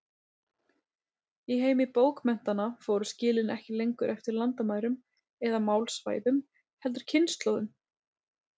Í heimi bókmenntanna fóru skilin ekki lengur eftir landamærum eða málsvæðum, heldur kynslóðum.